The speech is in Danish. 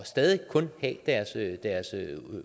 stadig kun at have deres